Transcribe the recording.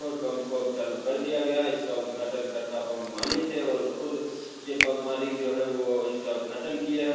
Petrol pump को अब चालु कर दिया गया है इसका उद्घाटनकर्ता पंप मालिक थे और खुद ये पंप मालिक जो है वो इसका उद्घाटन किए हैं।